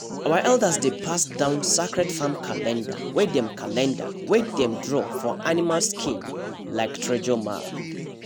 our elders dey pass down sacred farm calendar wey dem calendar wey dem draw for animal skin like treasure map